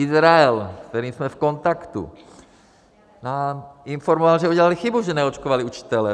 Izrael, s kterým jsme v kontaktu, nás informoval, že udělali chybu, že neočkovali učitele.